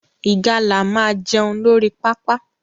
Ìgalà máa jẹun lórí pápá